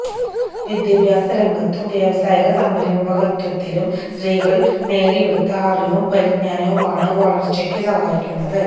വിദ്യാഭ്യാസ രംഗത്തും വ്യാവസായിക സംരഭകത്വത്തിലും സ്ത്രീകള് നേടിയെടുത്ത അറിവും പരിജ്ഞാനവുമാണ് വളര്ച്ചക്കു സഹായിക്കുന്നത്